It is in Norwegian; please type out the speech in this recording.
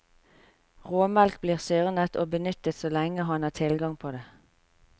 Råmelk blir syrnet og benyttet så lenge han har tilgang på det.